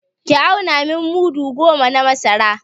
Ki auna min mudu goma na masara!